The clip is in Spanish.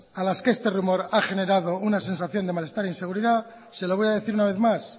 a las que este rumor ha generado una sensación de malestar e inseguridad se lo voy a decir una vez más